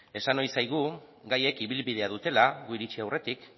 esan nahi zaigu gaiek ibilbidea dutela gu iritsi aurretik